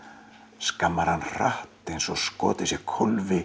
skammar hann hratt eins og skotið sé